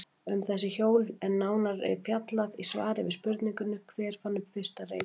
Um þessi hjól er nánar fjallaði í svari við spurningunni Hver fann upp fyrsta reiðhjólið?